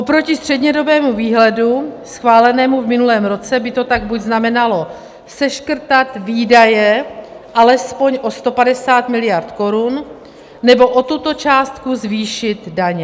Oproti střednědobému výhledu schválenému v minulém roce by to tak buď znamenalo seškrtat výdaje alespoň o 150 mld. korun, nebo o tuto částku zvýšit daně.